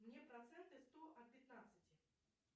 мне проценты сто от пятнадцати